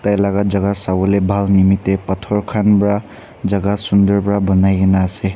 tailaga jagah sawole bhal nimite pathor khan bra jagah sundur bra banai ke na ase.